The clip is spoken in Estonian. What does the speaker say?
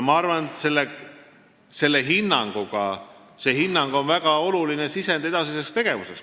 Ma arvan, et see hinnang on väga oluline sisend edasiseks tegevuseks.